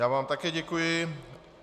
Já vám také děkuji.